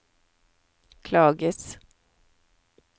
klages